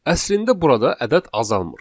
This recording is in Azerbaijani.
Əslində burada ədəd azalmır.